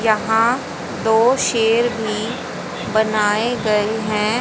यहां दो शेर भी बनाए गए हैं।